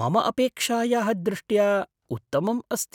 मम अपेक्षायाः दृष्ट्या उत्तमम् अस्ति।